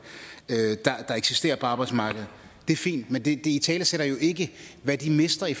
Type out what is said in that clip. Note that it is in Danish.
der eksisterer på arbejdsmarkedet det er fint men det italesætter jo ikke hvad de mister i